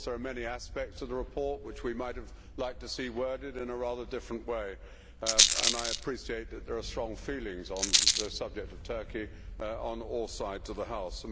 Of course there are many aspects of the report which we might have liked to see worded in a rather different way and I appreciate that there are strong feelings on the subject of Turkey on all sides of the House.